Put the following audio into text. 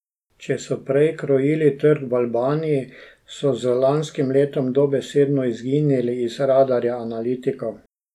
Če so prej krojili trg v Albaniji, so z lanskim letom dobesedno izginili iz radarja analitikov.